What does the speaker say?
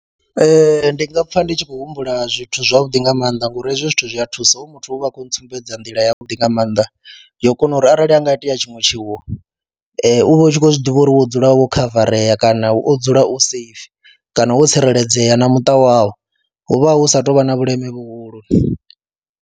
Ee, ndi nga pfha ndi tshi khou humbula zwithu zwavhuḓi nga maanḓa ngori hezwi zwithu zwi a thusa, hoyu muthu uv ha a khou ntsumbedza nḓila yavhuḓi nga maanḓa yo kona uri arali ha nga itea tshiṅwe tshiwo u vha u tshi khou zwi ḓivha uri wo dzula wo khavarea kana wo dzula u safe kana wo tsireledzea na muṱa wawu, hu vha hu sa tou vha na vhuleme vhuhulu.